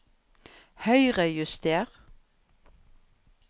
Høyrejuster